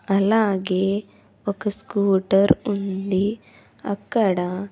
అలాగే ఒక స్కూటర్ ఉంది అక్కడ--